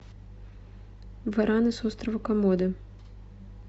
вараны с острова комодо